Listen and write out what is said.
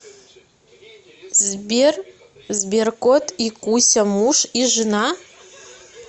сбер сберкот и куся муж и жена